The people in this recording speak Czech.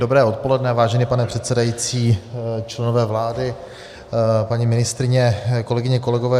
Dobré odpoledne, vážený pane předsedající, členové vlády, paní ministryně, kolegyně, kolegové.